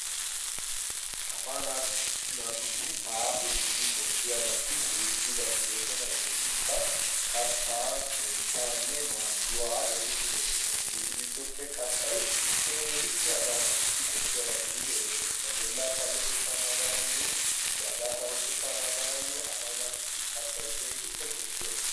Asa naatussi baaso gidi koshshiyaabati heezzu bati doosona. hegeetikka katta keettaanne maayyuwaa geetette erottoosona hegeetu giddoppe kattay keehippe asa naatussi koshshiyaabaa gididi erettees. ba bolla payyatetta naaganayyo bagaa sarotetta naaganayyo asa naatussi kattai keehippe koshshiyaabaa.